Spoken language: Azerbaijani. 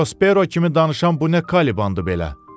Prospero kimi danışan bu nə Kalibandır belə.